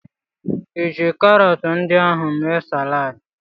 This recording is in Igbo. Ịji karọtụ ndị ahụ mee saladị?